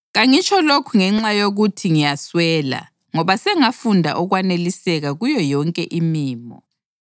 Kangitsho lokhu ngenxa yokuthi ngiyaswela ngoba sengafunda ukwaneliseka kuyo yonke imimo.